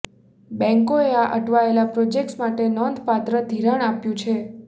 બેન્કોએ આ અટવાયેલા પ્રોજેક્ટ્સ માટે નોંધપાત્ર ધિરાણ આપ્યું છે